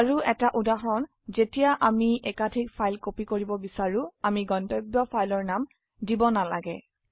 আৰুএটা উদাহৰণ যেতিয়া আমি একাধিক ফাইল কপি কৰিব বিচাৰো আমি গন্তব্য ফাইলৰ নাম দিব নালাগে